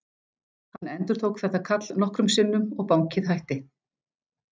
Hann endurtók þetta kall nokkrum sinnum og bankið hætti.